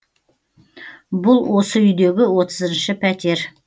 бұл осы үйдегі отызыншы пәтер